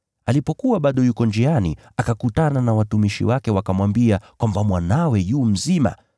Alipokuwa bado yuko njiani, akakutana na watumishi wake wakamwambia kwamba mwanawe yu mzima.